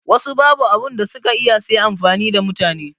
Wassu babu abunda suka iya sai amfani da mutane